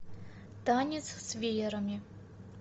танец с веерами